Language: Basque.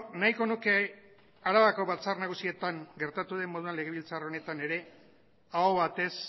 nahiko nuke arabako batzar nagusietan gertatu den moduan legebiltzar honetan ere aho batez